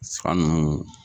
saga nunnu